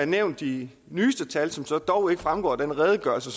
nævnt de nyeste tal som så dog ikke fremgår af den redegørelse